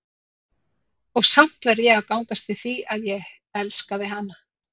Og samt verð ég að gangast við því, að ég hélt ég elskaði hana.